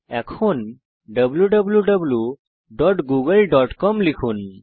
এখন wwwgooglecom লিখুন